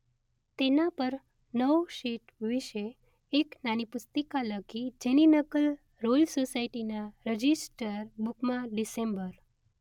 તેના પર નવ શીટ વિશે એક નાની પુસ્તિકા લખી જેની નકલ રોયલ સોસાયટીના રજિસ્ટર બુકમાં ડીસેમ્બર